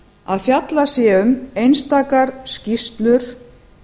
að fjallað sé um einstakar skýrslur